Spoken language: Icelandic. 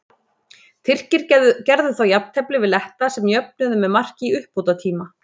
Tyrkir gerðu þá jafntefli við Letta sem jöfnuðu með marki í uppbótartíma.